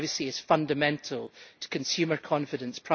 privacy is fundamental to consumer confidence